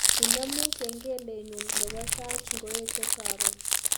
Inemu kengelenyu nebo sait ngoeche karon